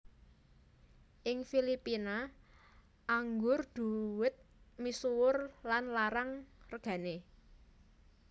Ing Filipina anggur dhuwet misuwur lan larang regané